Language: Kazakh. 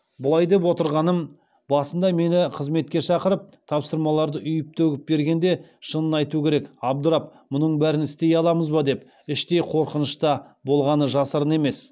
бұлай деп отырғаным басында мені қызметке шақырып тапсырмаларды үйіп төгіп бергенде шынын айту керек абдырап мұның бәрін істей аламыз ба деп іштей қорқыныш та болғаны жасырын емес